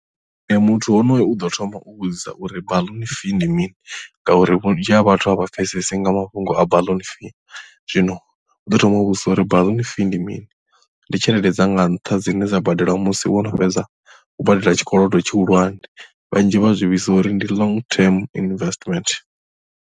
Nṋe muthu honoyo uḓo thoma u vhudzisa uri baḽuni fee ndi mini ngauri vhunzhi ha vhathu a vha pfhesesi nga mafhungo a baḽuni fee zwino u ḓo thoma u vhudzisa uri baḽuni fee ndi mini. Ndi tshelede dzanga nṱha dzine dza badelwa musi wo no fhedza u badela tshikolodo tshihulwane vhanzhi vha zwi vhidza uri ndi long term investment.